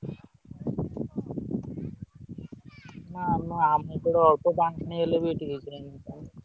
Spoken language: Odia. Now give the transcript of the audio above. ନା ଆମ ଆମ ଏପଟେ ଅଳ୍ପ ପାଣି ହେଲେବି ଏଠି ।